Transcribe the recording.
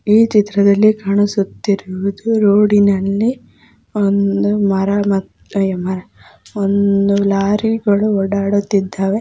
ಈ ಚಿತ್ರದಲ್ಲಿ ಕಾಣಿಸುತ್ತಿರುವುದು ರೋಡಿನಲ್ಲಿ ಒಂದು ಮರ ಮರ ಮತ್ತು ಒಂದು ಲೋರಿಗಳು ಓಡಾಡುತ್ತಿದ್ದವೇ.